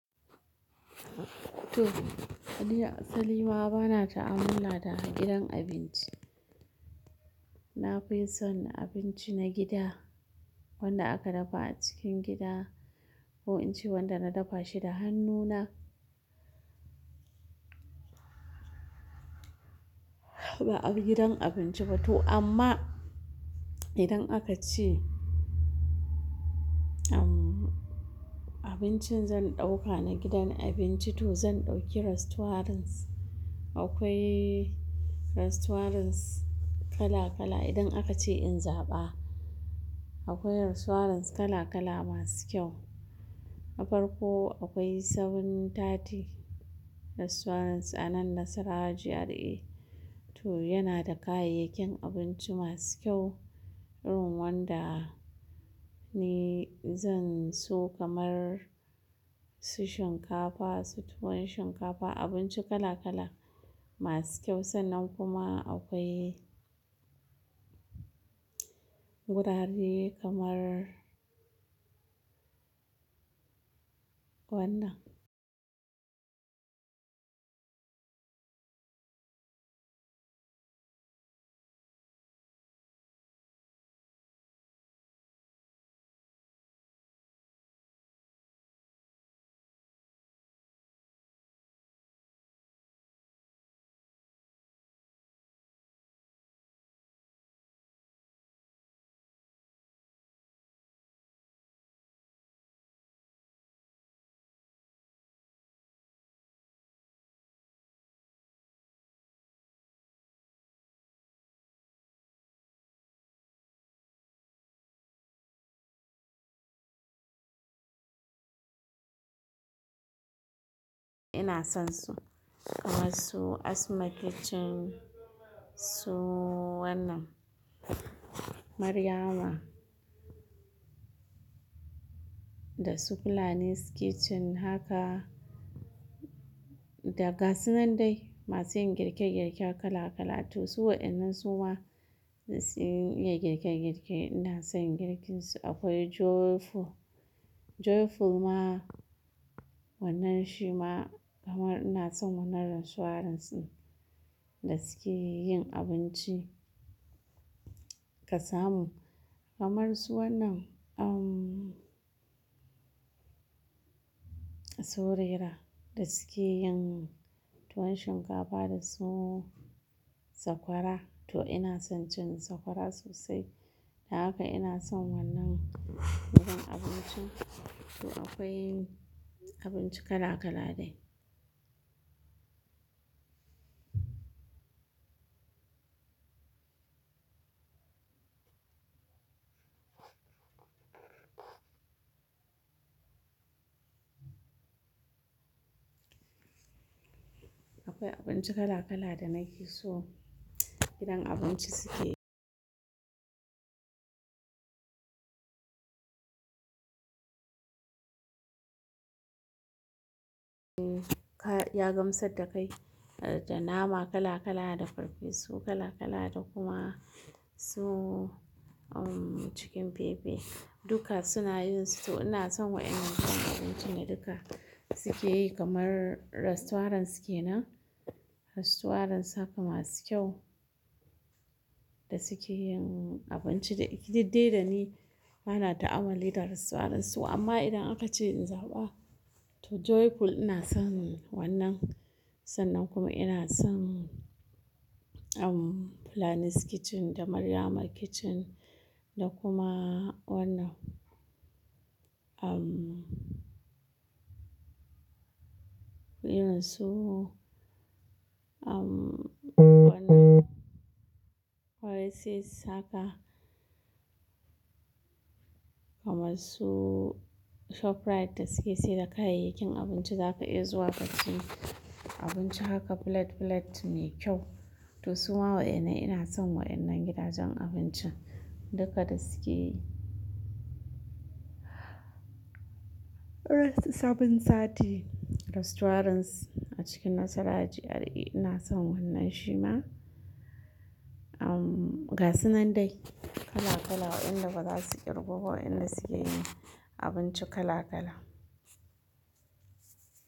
To, Salima ba na ta'amula da gidan abinci. Na fi son abinci na gida wanda aka dafa a cikin gida ko in ci wanda na dafa shi da hannuna. Ba abu gidan abinci ba to amma idan aka ce abincin zan ɗauka na gidan abinci to zan ɗauki restaurants. Akwai restaurants kala kala idan aka ce in zaɓa. Akwai restaurants kala kala masu kyau. A farko akwai sevenTati restaurants a nan Nasarawa GRA. To yana da kayayyakin abinci masu kyau irin wanda ni zan so kamar su shinkafa, su tuwon shinkafa, abinci kala kala masu kyau sannan kuma akwai wurare kamar wannan. Ina son su kamar su Asma Kitchen, su wannan Maryama da su Planis Kitchen haka daga su nan dai masu yin girke girke kala kala. To suwa wannan su ma suna yin girke girke. Ina son girkinsu. Akwai Joyful. Joyful ma wannan shi ma kamar ina son wannan restaurants din da suke yin abinci kasamu kamar su wannan Suraira da suke yin tuwon shinkafa da su Sakwara. To ina son cin sakwara sosai. Haka ina son wannan gidan abinci. To akwai abinci kala kala dai. Akwai abinci kala kala da naki so idan abinci suke. Ya gamsar da kai da nama kala kala, da farfesu kala kala da kuma su cikin fefe duka suna yin su. To ina son wa'innan gidan abinci duka suke yi kamar restaurants kenan. Restaurants haka masu kyau da suke yin abinci da didde dani. Ba na ta'amuli da restaurants su amma idan aka ce in zaɓa to Joyful ina son wannan. Sannan kuma ina son Planis Kitchen da Maryama Kitchen da kuma wannan. Ina so wannan. Akwai sis haka kamar su ShopRite da suke sayar da kayayyakin abinci zaka iya zuwa ka sayo abinci haka plate plate ne kyau. To su ma wa'innan ina son wa'innan gidajen abinci duka da suke yi. Seven tati restaurants a cikin Nasarawa GRA ina son wannan shi ma. Daga su nan dai kala kala wa'inda ba za su ƙirgo ba wa'inda suke yin abinci kala kala.